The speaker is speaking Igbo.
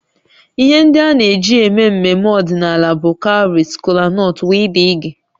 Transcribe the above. Ihe ndị a na-eji eme mmemme ọdịnala bụ cowries, kolanut wdg